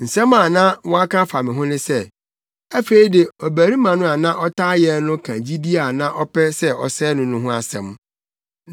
Nsɛm a na wɔaka afa me ho sɛ, “Afei de, ɔbarima no a na ɔtaa yɛn no ka gyidi a na ɔpɛ sɛ ɔsɛe no no ho asɛm.”